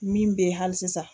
Min bɛ ye hali sisan.